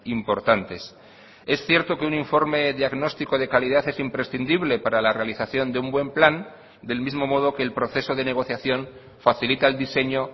importantes es cierto que un informe diagnóstico de calidad es imprescindible para la realización de un buen plan del mismo modo que el proceso de negociación facilita el diseño